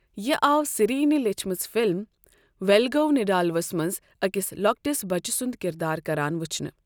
یہِ آو سری یِنۍ لیٖچھمٕژ فِلم ویلگو نیڈالوَس منٛز أکِس لۄکٹِس بچہٕ سُنٛد کِردار کران ؤچھنہٕ۔